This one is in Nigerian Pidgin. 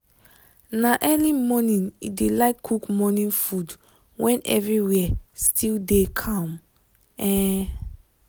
na early morning e dey like cook morning food when everywhere still dey calm. um